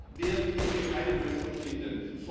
Dann werden wir hier keine Lösungen finden.